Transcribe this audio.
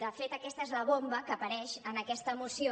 de fet aquesta és la bomba que apareix en aquesta moció